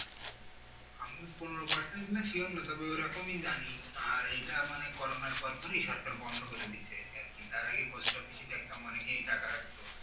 আপনার পনোরো percent কিনা sure না তবে ওই রকমই জানি আর এটা মানে করুনার পর পরই সরকার বন্ধ করে দিছে আরকি তার আগে পোস্ট অফিসে দেখতাম অনেকেই টাকা রাখতো